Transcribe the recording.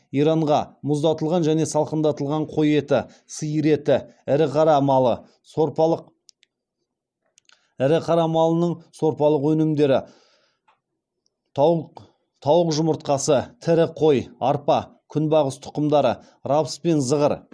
иранға мұздатылған және салқындатылған қой еті сиыр еті ірі қара малының сорпалық өнімдері тауық жұмыртқасы тірі қой арпа күнбағыс тұқымдары рапс пен зығыр